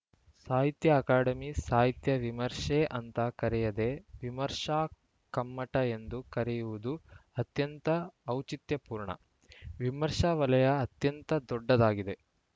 ಸಾಹಿತ್ಯ ಅಕಾಡೆಮಿ ಸಾಹಿತ್ಯ ವಿಮರ್ಶೆ ಅಂತ ಕರೆಯದೆ ವಿಮರ್ಶಾ ಕಮ್ಮಟ ಎಂದು ಕರೆದಿರುವುದು ಅತ್ಯಂತ ಔಚಿತ್ಯಪೂರ್ಣ ವಿಮರ್ಶಾ ವಲಯ ಅತ್ಯಂತ ದೊಡ್ಡದಾಗಿದೆ